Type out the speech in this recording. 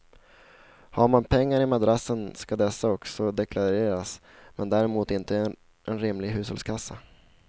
Har man pengar i madrassen ska dessa också deklareras men däremot inte en rimlig hushållskassa.